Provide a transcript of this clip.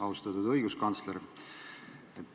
Austatud õiguskantsler!